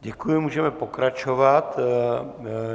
Děkuji, můžeme pokračovat.